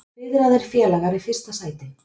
Fiðraðir félagar í fyrsta sæti